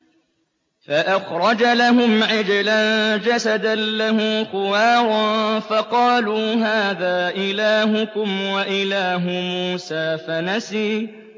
فَأَخْرَجَ لَهُمْ عِجْلًا جَسَدًا لَّهُ خُوَارٌ فَقَالُوا هَٰذَا إِلَٰهُكُمْ وَإِلَٰهُ مُوسَىٰ فَنَسِيَ